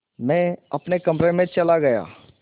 मैं अपने कमरे में चला गया